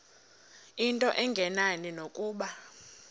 into engenani nokuba